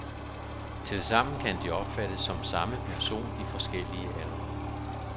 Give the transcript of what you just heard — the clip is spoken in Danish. Tilsammen kan de opfattes som samme person i forskellige aldre.